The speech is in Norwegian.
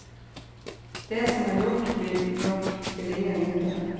Det som er gjort, blir nok til ingen nytte.